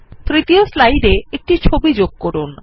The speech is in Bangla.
তৃতীয় স্লাইডে একটি ছবি যোগ করুন